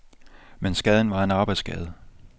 Men skaden var en arbejdsskade.